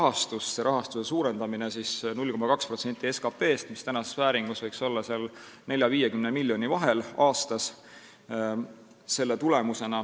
See rahastuse suurendamine võiks olla 0,2% SKT-st, mis tänases vääringus võiks olla 40 ja 50 miljoni vahel aastas.